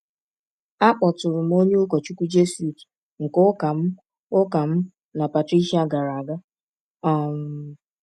Akpọtụrụ m onye ụkọchukwu Jesuit nke ụka mụ ụka mụ na Patricia gara aga. um